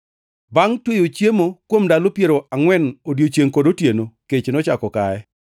Bangʼ tweyo chiemo kuom ndalo piero angʼwen odiechiengʼ kod otieno, kech nochako kaye.